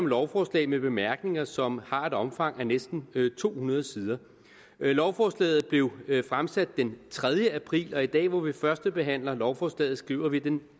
lovforslag med bemærkninger som har et omfang af næsten to hundrede sider lovforslaget blev fremsat den tredje april og i dag hvor vi førstebehandler lovforslaget skriver vi den